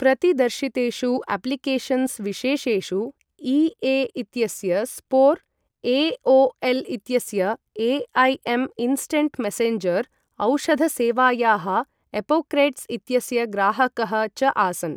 प्रतिदर्शितेषु applications विशेषेषु EA. इत्यस्य Spore, ए.ओ.एल्.इत्यस्य ए, ऐ.एम् इन्स्टन्ट् मेसेन्जर्, औषधसेवायाः एपोक्रेट्स् इत्यस्य ग्राहकः च आसन्।